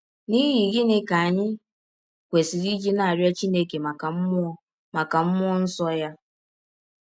N’ihi gịnị ka anyị kwesịrị iji na - arịọ Chineke maka mmụọ maka mmụọ nsọ ya?